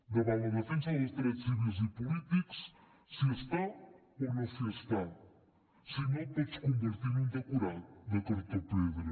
davant la defensa dels drets civils i polítics s’hi està o no s’hi està si no et pots convertir en un decorat de cartó pedra